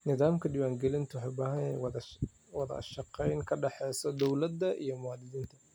Nidaamka diwaangelintu waxa uu u baahan yahay wada shaqayn ka dhaxaysa dawladda iyo muwaadiniinta.